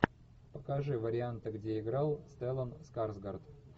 покажи варианты где играл стеллан скарсгард